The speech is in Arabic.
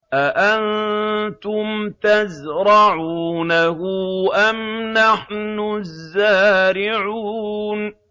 أَأَنتُمْ تَزْرَعُونَهُ أَمْ نَحْنُ الزَّارِعُونَ